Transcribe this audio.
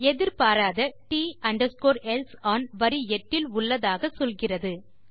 எதிர்பாராத T else one வரி 8 இல் உள்ளதாக சொல்கிறது